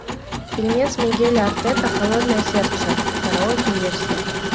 фильмец мигеля артета холодное сердце караоке версия